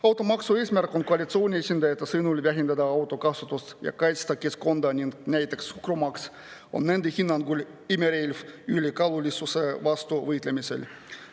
Automaksu eesmärk on koalitsiooni esindajate sõnul vähendada autode kasutamist ja kaitsta keskkonda, suhkrumaks aga on nende hinnangul imerelv ülekaalulisuse vastu võitlemisel.